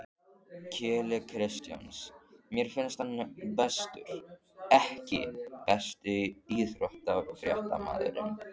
Keli Kristjáns mér finnst hann bestur EKKI besti íþróttafréttamaðurinn?